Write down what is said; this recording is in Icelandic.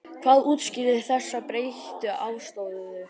Hvað útskýrir þessa breyttu afstöðu þína?